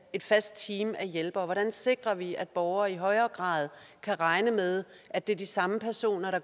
et fast team af hjælpere hvordan sikrer vi at borgere i højere grad kan regne med at det er de samme personer der